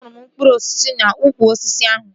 Ahụrụ m mkpụrụ osisi n'ukwu osisi ahụ